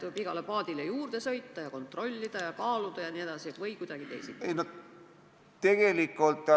Kas tuleb igale paadile juurde sõita, kontrollida ja kaaluda või kuidagi teisiti?